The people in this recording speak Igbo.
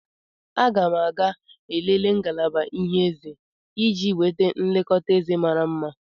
Aga m ga-elele ngalaba ịhe eze iji nweta nlekọta eze mara mma.